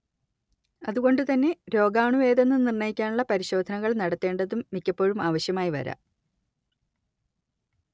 അതുകൊണ്ടുതന്നെ രോഗാണുവേതെന്നു നിർണയിക്കാനുള്ള പരിശോധനകൾ നടത്തേണ്ടതും മിക്കപ്പോഴും ആവശ്യമായി വരാം